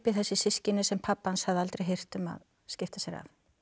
þessi systkini sem pabbi hans hafði aldrei hirt um að skipta sér af